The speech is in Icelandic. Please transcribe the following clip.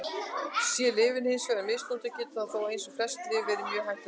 Sé lyfið hins vegar misnotað getur það þó, eins og flest lyf, verið mjög hættulegt.